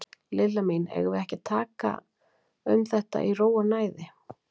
Lilla mín, eigum við ekki að tala um þetta í ró og næði?